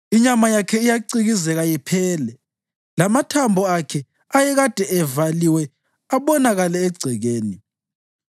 Inyama yakhe iyacikizeka iphele, lamathambo akhe ayekade evaliwe abonakale egcekeni.